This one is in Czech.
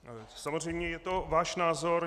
Samozřejmě je to váš názor.